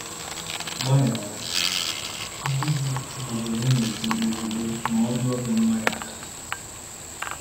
Gbaghara di gị ma ọ bụ nwunye gị ozugbo ma ọ rịọ gị mgbaghara.